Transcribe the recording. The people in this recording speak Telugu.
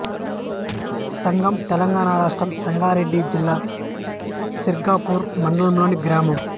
సంగం తెలంగాణ రాష్ట్రం సంగారెడ్డి జిల్లా సిర్గాపూర్ మండలంలోని గ్రామం